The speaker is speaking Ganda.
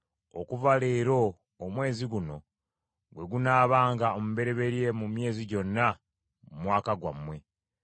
“Okuva leero omwezi guno gwe gunaabanga omubereberye mu myezi gyonna mu mwaka gwammwe.